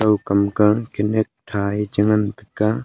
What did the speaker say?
kau kam ka kanyak tha ye che ngan tega.